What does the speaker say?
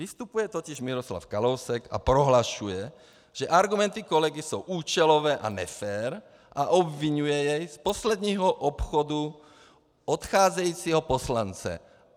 Vystupuje totiž Miroslav Kalousek a prohlašuje, že argumenty kolegy jsou účelové a nefér a obviňuje jej z posledního obchodu odcházejícího poslance.